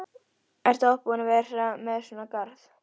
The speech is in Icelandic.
Ertu oft búin að vera með svona garð?